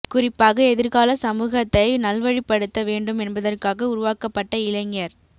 குறிப்பாக எதிர்கால சமூகத்தை நல்வழிப்படுத்த வேண்டும் என்பதற்காக உருவாக்க ப்பட்ட இளைஞர்